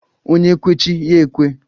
Onye kwe chi ya ekwe